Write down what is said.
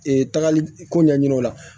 tagali ko ɲɛɲini o la